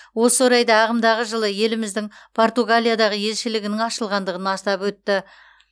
осы орайда ағымдағы жылы еліміздің португалиядағы елшілігінің ашылғандығын атап өтті